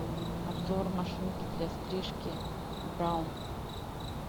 обзор машинки для стрижки браун